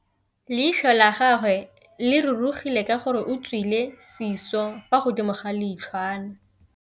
Leitlhô la gagwe le rurugile ka gore o tswile sisô fa godimo ga leitlhwana.